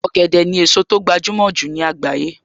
Ọ̀gẹ̀dẹ̀ ni èso tó gbajúmọ̀ jù ní àgbáyé